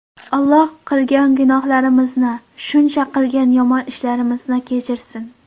Alloh qilgan gunohlarimizni, shuncha qilgan yomon ishlarimizni kechirsin.